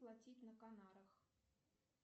платить на канарах